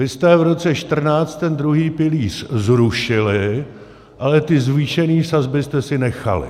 Vy jste v roce 2014 ten druhý pilíř zrušili, ale ty zvýšené sazby jste si nechali.